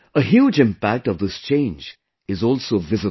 A huge impact of this change is also visible